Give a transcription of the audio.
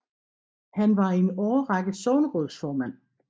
Han var i en årrække sognerådsformand